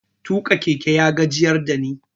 Tuƙa keke ya gajiyar da ni.